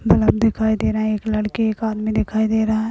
Bulb दिखाई दे रहा है एक लड़की एक आदमी दिखाई दे रहा है।